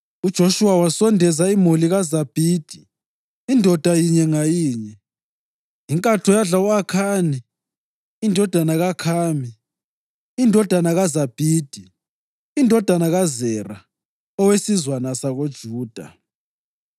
UJoshuwa wasondeza imuli kaZabhidi indoda yinye ngayinye, inkatho yadla u-Akhani indodana kaKhami, indodana kaZabhidi, indodana kaZera owesizwana sakoJuda.